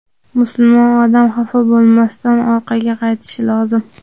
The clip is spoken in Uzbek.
musulmon odam xafa bo‘lmasdan orqaga qaytishi lozim.